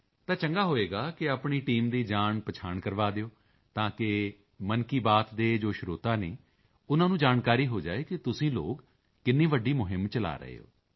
ਤਾਂ ਚੰਗਾ ਹੋਵੇਗਾ ਕਿ ਆਪਣੀ ਟੀਮ ਦੀ ਜਾਣਪਹਿਚਾਣ ਕਰਵਾ ਦਿਓ ਤਾਕਿ ਮਨ ਕੀ ਬਾਤ ਦੇ ਜੋ ਸਰੋਤਾ ਹਨ ਉਨ੍ਹਾਂ ਨੂੰ ਜਾਣਕਾਰੀ ਹੋ ਜਾਏ ਕਿ ਤੁਸੀਂ ਲੋਕ ਕਿੰਨੀ ਵੱਡੀ ਮੁਹਿੰਮ ਚਲਾ ਰਹੇ ਹੋ